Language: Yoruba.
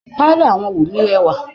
pálọ̀ awọ́n Wunmi rẹwà.